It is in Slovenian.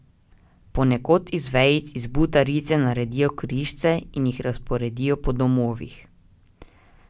Ponekod iz vejic iz butarice naredijo križce in jih razporedijo po domovih.